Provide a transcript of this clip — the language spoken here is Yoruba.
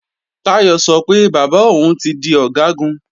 Táyọ̀ sọ pé bàbá òun ti di Ọ̀gágun